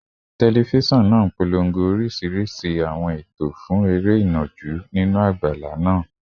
Tẹlifíṣọ̀n náà ń polongo oríṣiríṣi àwọn ètò fún eré ìnàjú nínú àgbàlá náà